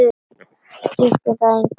Skiptir það þig engu máli?